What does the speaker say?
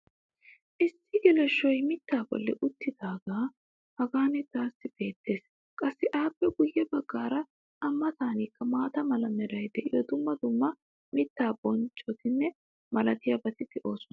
issi geleshshoy mitaa boli utaagee hagan taassi beetees. qassi appe guye bagaara a matankka maata mala meray diyo dumma dumma mitaa bonccota malatiyaabati de'oosona.